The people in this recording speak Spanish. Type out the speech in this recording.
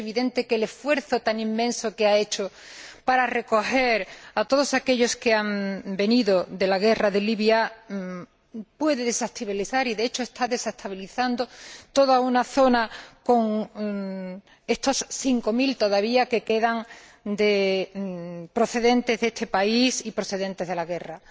Es evidente que el esfuerzo tan inmenso que ha hecho para acoger a todos aquellos que han venido de la guerra de Libia puede desestabilizar, y de hecho está desestabilizando, toda una zona, con estos cinco mil que quedan todavía procedentes de este país y procedentes de la guerra.